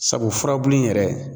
Sabu furabulu in yɛrɛ